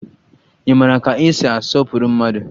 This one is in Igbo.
Ị mara ka esi asọpụrụ mmadụ?